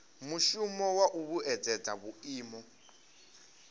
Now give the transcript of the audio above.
mushumo wa u vhuedzedza vhuimo